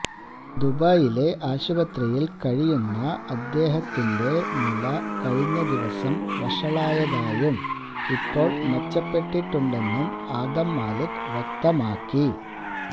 ദുബൈയിലെ ആശുപത്രിയില് കഴിയുന്ന അദ്ദേഹത്തിന്റെ നില കഴിഞ്ഞ ദിവസം വഷളായതായും ഇപ്പോള് മെച്ചപ്പെട്ടിട്ടുണ്ടെന്നും ആദം മാലിക് വ്യക്തമാക്കി